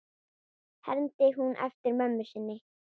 hermdi hún eftir mömmu sinni.